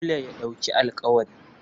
Dole ya ɗauki alƙawari.